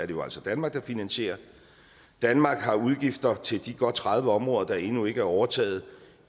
jo altså danmark der finansierer danmark har udgifter til de godt tredive områder der endnu ikke er overtaget